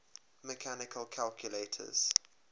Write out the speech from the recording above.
mechanical calculators